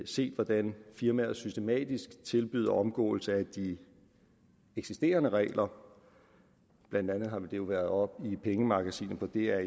set hvordan firmaer systematisk tilbyder omgåelse af de eksisterende regler blandt andet har det jo været oppe i pengemagasinet på dr